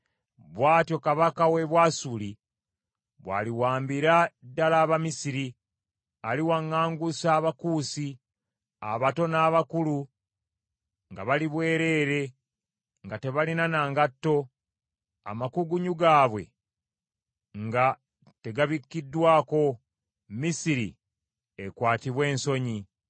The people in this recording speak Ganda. bw’atyo kabaka w’e Bwasuli bw’aliwambira ddala Abamisiri, aliwaŋŋangusa Abakuusi, abato n’abakulu nga bali bwereere nga tebalina na ngatto, amakugunyu gaabwe nga tegabikiddwako, Misiri ekwatibwe ensonyi.